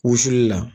Wusuli la